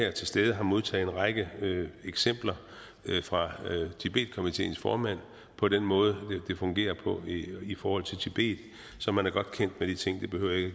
er til stede har modtaget en række eksempler fra tibetkomiteens formand på den måde det fungerer på i forhold til tibet så man er godt kendt med de ting det behøver jeg